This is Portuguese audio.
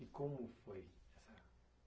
E como foi essa?